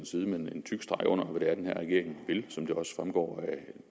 side med en tyk streg under hvad det er den her regering vil som det også fremgår